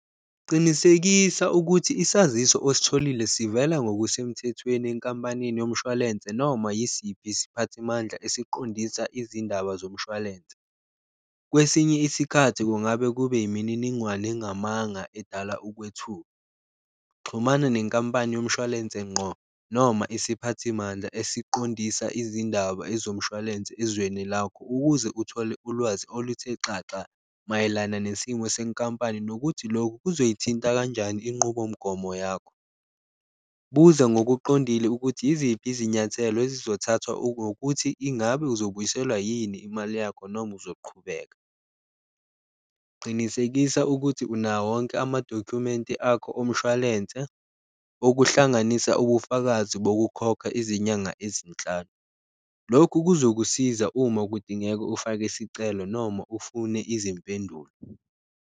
Qinisekisa ukuthi isaziso ositholile sivela ngokusemthethweni enkampanini yomshwalense noma yisiphi siphathimandla esiqondisa izindaba zomshwalense, kwesinye isikhathi kungabe kube yimininingwane engamanga edala ukwethuka. Xhumana nenkampani yomshwalense ngqo noma isiphathimandla esiqondisa izindaba ezomshwalense ezweni lakho ukuze uthole ulwazi oluthe xaxa mayelana nesimo senkampani, nokuthi lokhu kuzoyithinta kanjani inqubomgomo yakho. Buza ngokuqondile ukuthi yiziphi izinyathelo ezizothathwa ingabe uzobuyiselwa yini imali yakho noma uzoqhubeka, qinisekisa ukuthi unawo wonke amadokhumenti akho omshwalense, okuhlanganisa ubufakazi bokukhokha izinyanga ezinhlanu. Lokhu kuzokusiza uma kudingeka ufake isicelo noma ufune izimpendulo.